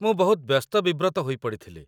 ମୁଁ ବହୁତ ବ୍ୟସ୍ତ ବିବ୍ରତ ହୋଇ ପଡ଼ିଥିଲି